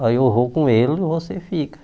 Olha eu vou com ele e você fica.